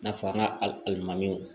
I n'a fɔ an ka alimamiw